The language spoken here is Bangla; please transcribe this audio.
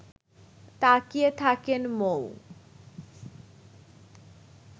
তাকিয়ে থাকেন মৌ